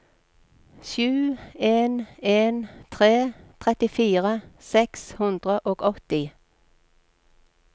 sju en en tre trettifire seks hundre og åtti